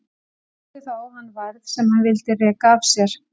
Sótti þá á hann værð sem hann vildi reka af sér.